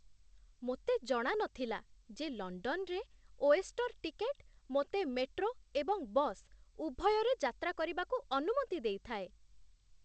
ମୋତେ ଜଣା ନଥିଲା ଯେ ଲଣ୍ଡନରେ 'ଓଏଷ୍ଟର୍' ଟିକେଟ୍ ମୋତେ ମେଟ୍ରୋ ଏବଂ ବସ୍ ଉଭୟରେ ଯାତ୍ରା କରିବାକୁ ଅନୁମତି ଦେଇଥାଏ।